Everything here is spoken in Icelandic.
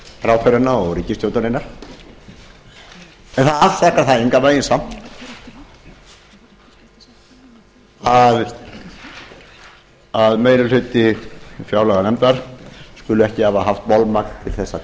ráðherrana og ríkisstjórnarinnar en allt þetta fær engan veginn samt að meiri hluti fjárlaganefndar skuli ekki hafa haft bolmagn